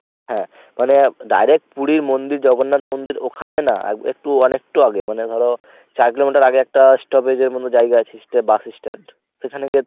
হ্যাঁ মানে direct পুরী মন্দির জগন্নাথ মন্দির ওখানে না আহ একটু অনেকটু আগে মানে ধর চার kilometer আগে একটা stoppage এর মতন জায়গা আছে। সেটা bus stand সেখানে গিয়ে